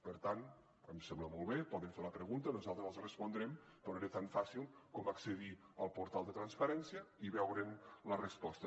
per tant em sembla molt bé poden fer la pregunta nosaltres els respondrem però era tan fàcil com accedir al portal de transparència i veure’n la resposta